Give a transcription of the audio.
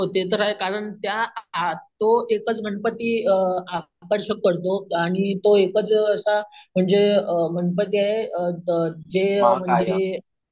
हो ते तर आहे कारण त्या अम तो एकच गणपती अम आकर्षक करतो आणि तो एकच असा अम म्हणजे अम गणपती आहे अम अम जे